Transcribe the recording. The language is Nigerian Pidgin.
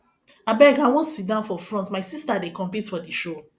abeg i wan sit down for front my sister dey compete for the show